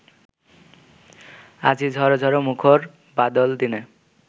আজি ঝর ঝর মুখর বাদল দিনে